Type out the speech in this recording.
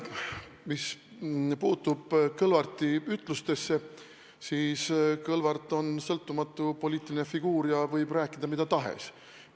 Mis puutub Kõlvarti ütlustesse, siis Kõlvart on sõltumatu poliitiline figuur ja võib rääkida mida tahes.